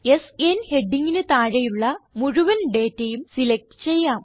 സ്ന് ഹെഡിംഗിന് താഴെയുള്ള മുഴുവൻ ഡേറ്റയും സിലക്റ്റ് ചെയ്യാം